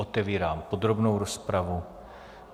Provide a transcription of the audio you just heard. Otevírám podrobnou rozpravu.